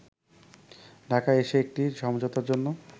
ঢাকায় এসে একটি সমঝোতার জন্য